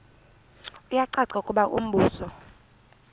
kuyacaca ukuba umbuso